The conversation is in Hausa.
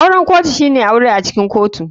Auren kotu shine yin aure acikin kotu.